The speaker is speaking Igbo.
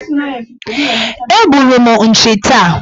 Egburu m nchi taa.